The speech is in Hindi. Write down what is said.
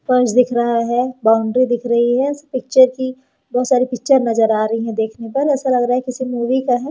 फर्श दिख रहा है बाउंड्री दिख रही है इस पिक्चर की बहोत सारी पिक्चर नजर आ रही है देखने पर ऐसा लग रहा है किसी मूवी का है।